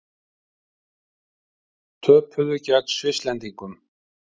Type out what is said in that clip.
Töpuðu gegn Svisslendingum